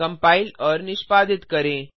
compile और निष्पादित करें